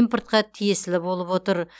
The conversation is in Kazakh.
импортқа тиесілі болып отыр